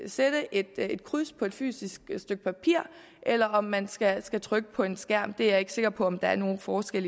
sætte et et kryds på et fysisk stykke papir eller om man skal skal trykke på en skærm er jeg ikke sikker på der er nogen forskel